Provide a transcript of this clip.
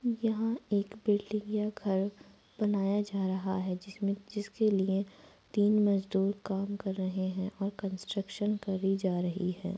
यहाँ एक बिल्डिंग या घर बनाया जा रहा है जिसमें जिसके लिए तीन मजदुर काम कर रहे हैं और कंट्रक्शन करी जा रही है।